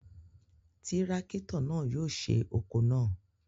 Tirakito náà yóò ṣe oko náà